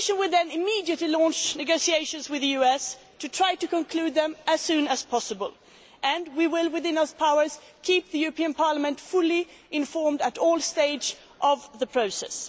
The Commission will then immediately launch negotiations with the US to try to conclude them as soon as possible. We will, within those powers, keep the European Parliament fully informed at all stages of the process.